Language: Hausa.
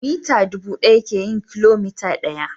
mita dubu daya ke yin kilomita daya.